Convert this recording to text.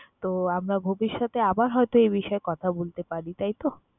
তো, আমরা ভবিষ্যতে আবার হয়তো এই বিষয়ে কথা বলতে পারি, তাই তো?